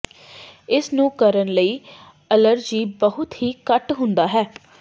ਇਸ ਨੂੰ ਕਰਨ ਲਈ ਅਲਰਜੀ ਬਹੁਤ ਹੀ ਘੱਟ ਹੁੰਦਾ ਹੈ